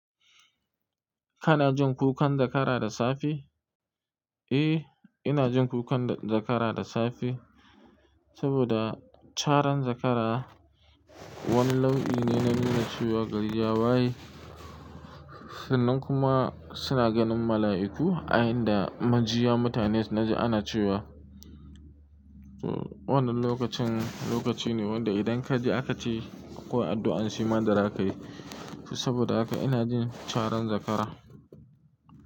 Kana jin kukan zakara da safe? Eh, ina jin kukan zakara da safe. Saboda caran zakara wani lau'i ne na nuna cewa gari ya waye. Sunan kuma suna ganin mala'iku a inda majiya mutane naji ana cewa. Wannan lokacin lokaci ne wanda idan kaji aka ce ko addu'an shi ma da zaka yi. Saboda haka ina jin caran zakara.